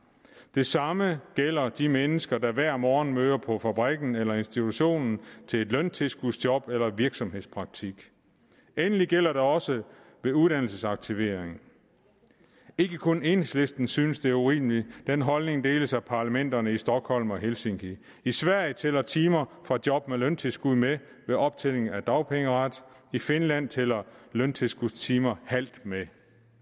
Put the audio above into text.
det samme gælder de mennesker der hver morgen møder på fabrikken eller institutionen til et løntilskudsjob eller i virksomhedspraktik endelig gælder det også ved uddannelsesaktivering ikke kun enhedslisten synes det er urimeligt den holdning deles af parlamenterne i stockholm og helsinki i sverige tæller timer fra job med løntilskud med ved optjening af dagpengeret i finland tæller løntilskudstimer halvt med